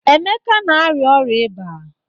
Emeka na arịa ọrịa iba.